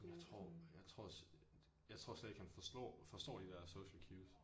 Jeg tror jeg tror øh jeg tror slet ikke han forslår forstår de der social cues